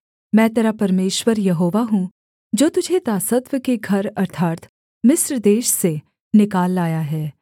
मैं तेरा परमेश्वर यहोवा हूँ जो तुझे दासत्व के घर अर्थात् मिस्र देश से निकाल लाया है